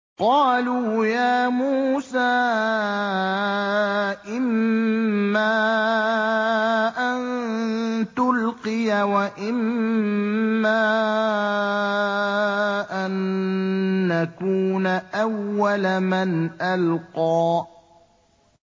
قَالُوا يَا مُوسَىٰ إِمَّا أَن تُلْقِيَ وَإِمَّا أَن نَّكُونَ أَوَّلَ مَنْ أَلْقَىٰ